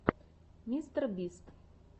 мистер бист